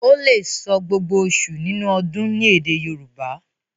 o lẹ sọ gbógbó oṣù nínú ọdún ní èdè Yorùbá.